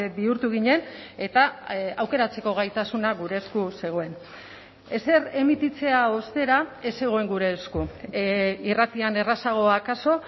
bihurtu ginen eta aukeratzeko gaitasuna gure esku zegoen ezer emititzea ostera ez zegoen gure esku irratian errazago akaso